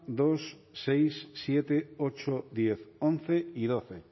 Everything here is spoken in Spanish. dos seis siete ocho diez once y doce